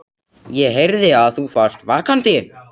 ÉG HEYRÐI AÐ ÞÚ VARST VAKANDI.